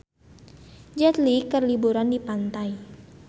Jet Li keur liburan di pantai